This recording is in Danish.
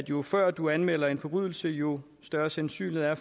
jo før du anmelder en forbrydelse jo større sandsynlighed er